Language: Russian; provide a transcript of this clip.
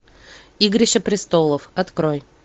игрища престолов открой